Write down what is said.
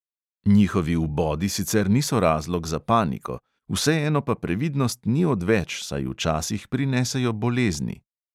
Njihovi vbodi sicer niso razlog za paniko, vseeno pa previdnost ni odveč, saj včasih prinesejo bolezni.